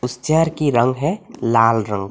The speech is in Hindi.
इस चेयर की रंग है लाल रंग।